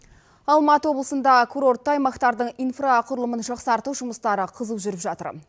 алматы облысында курортты аймақтардың инфрақұрылымын жақсарту жұмыстары қызу жүріп жатыр